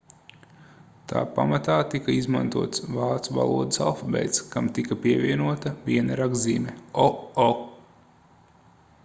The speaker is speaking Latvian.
tā pamatā tika izmantots vācu valodas alfabēts kam tika pievienota viena rakstzīme õ/õ